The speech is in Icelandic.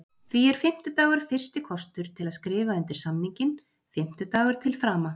Því er fimmtudagur fyrsti kostur til að skrifa undir samninginn, fimmtudagur til frama.